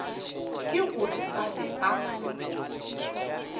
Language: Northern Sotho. ke gore ba be ba